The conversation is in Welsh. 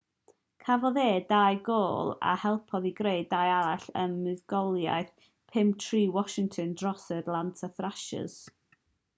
cafodd e 2 gôl a helpodd i greu 2 arall ym muddugoliaeth 5-3 washington dros yr atlanta thrashers